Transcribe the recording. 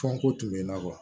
Fɔnko tun bɛ n na